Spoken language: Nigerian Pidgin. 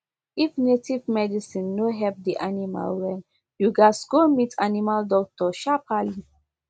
if native medicine no help di animal well you gats go meet animal doctor sharperly